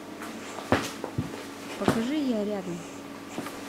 покажи я рядом